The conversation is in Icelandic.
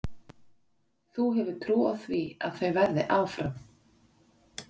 Þú hefur trú á því að þau verði áfram?